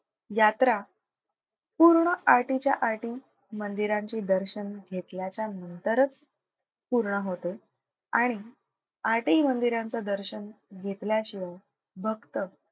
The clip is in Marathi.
यात्रा पूर्ण आठहीच्या आठही मंदिरांचे दर्शन घेतल्याच्या नंतरच पूर्ण होते आणि आठही मंदिरांचं दर्शन घेतल्याशिवाय भक्त,